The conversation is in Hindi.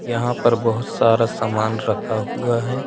यहां पर बहुत सारा सामान रखा हुआ है।